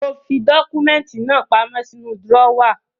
Mo fi dọ́kúmẹ́ntì náà pamọ́ sínú drọ́wà.